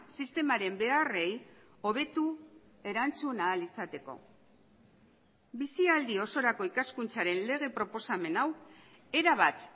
sistemaren beharrei hobetu erantzun ahal izateko bizialdi osorako ikaskuntzaren lege proposamen hau erabat